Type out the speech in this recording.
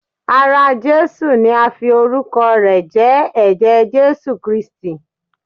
Ara Jesu ni a fi orukọ rẹ̀ jẹ́, ẹ̀jẹ̀ Jesu Kristi.